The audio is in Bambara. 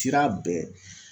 Sira bɛɛ